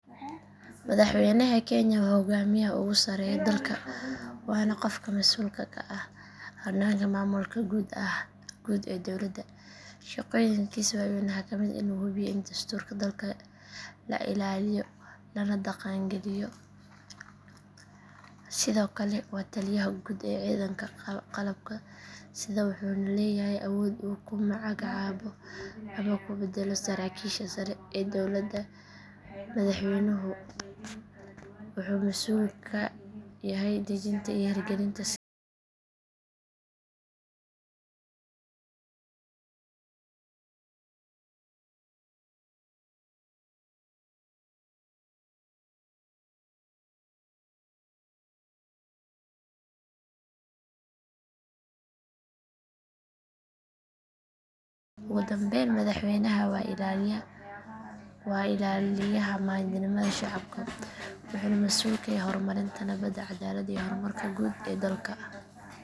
Madaxweynaha kenya waa hoggaamiyaha ugu sarreeya dalka waana qofka mas’uulka ka ah hannaanka maamulka guud ee dowladda shaqooyinkiisa waaweyn waxaa ka mid ah inuu hubiyo in dastuurka dalka la ilaaliyo lana dhaqan geliyo sidoo kale waa taliyaha guud ee ciidanka qalabka sida wuxuuna leeyahay awood uu ku magacaabo ama ku beddelo saraakiisha sare ee dowladda madaxweynuhu wuxuu mas’uul ka yahay dejinta iyo hirgelinta siyaasadaha dalka waxaana uu horkacaa golaha wasiirada si loo gaarsiiyo shacabka adeegyo hufan sidoo kale wuxuu matalaa dalka gudaha iyo dibadda isagoo saxiixa heshiisyada caalamiga ah iyo ka qeybgalka shirarka sare ugu dambeyn madaxweynuhu waa ilaaliyaha midnimada shacabka wuxuuna mas’uul ka yahay horumarinta nabadda caddaaladda iyo horumarka guud ee dalka.